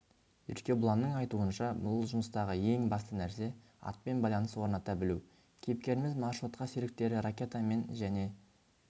еркебұланның айтуынша бұл жұмыстағы ең басты нәрсе атпен байланыс орната білу кейіпкеріміз маршрутқа серіктері ракетамен және